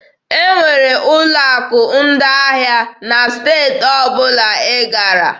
E nwekwara ụlọ akụ ndị ahịa na steeti ọbụla ị gara.